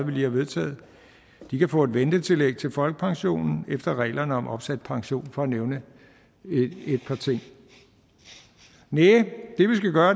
vi lige har vedtaget de kan få et ventetillæg til folkepensionen efter reglerne om opsat pension for at nævne et par ting næh